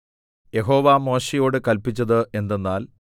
യഹോവ മോശെയോട് കല്പിച്ചത് എന്തെന്നാൽ